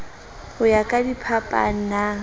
ho ya ka diphapang na